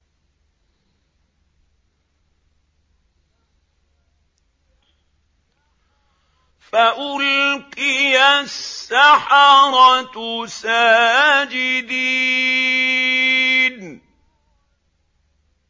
فَأُلْقِيَ السَّحَرَةُ سَاجِدِينَ